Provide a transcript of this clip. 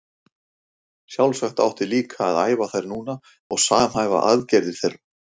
Sjálfsagt átti líka að æfa þær núna og samhæfa aðgerðir þeirra.